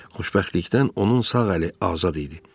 Xoşbəxtlikdən onun sağ əli azad idi.